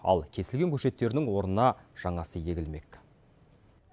ал кесілген көшеттердің орнына жаңасы егілмек